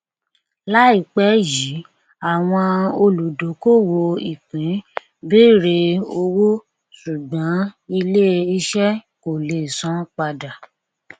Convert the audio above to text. láìpẹ yìí àwọn olùdókòwò ìpín bẹrẹ owó ṣùgbón ilé iṣẹ kọ lè san padà